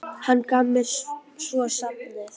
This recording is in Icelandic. Hann gaf mér svo safnið.